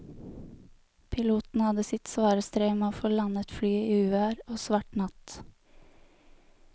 Piloten hadde sitt svare strev med å få landet flyet i uvær og svart natt.